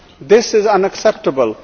This is unacceptable.